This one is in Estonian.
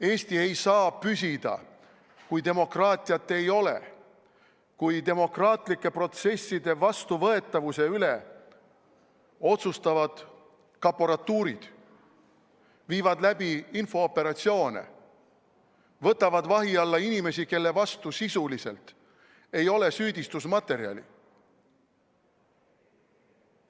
Eesti ei saa püsida, kui demokraatiat ei ole, kui demokraatlike protsesside vastuvõetavuse üle otsustavad kaporatuurid, viivad läbi infooperatsioone, võtavad vahi alla inimesi, kelle vastu sisuliselt ei ole süüdistusmaterjali.